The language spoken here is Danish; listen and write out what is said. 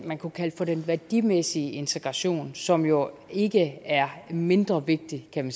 man kunne kalde for den værdimæssige integration som jo ikke er mindre vigtig kan